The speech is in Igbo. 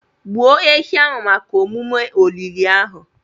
Gbuo ehi ahụ maka omume olili ahụ.